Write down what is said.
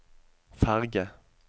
ferge